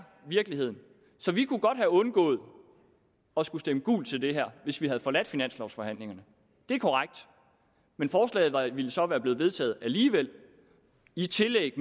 virkeligheden så vi kunne godt have undgået at skulle stemme gult til det her hvis vi havde forladt finanslovsforhandlingerne det er korrekt men forslaget ville så være blevet vedtaget alligevel i tillæg